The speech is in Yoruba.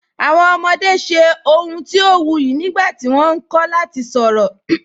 Awọn ọmọde ṣẹ awọn ọ̀huǹ ti o wuyì nígbàtí wọ́n nkọ̀ lati sọ̀rọ.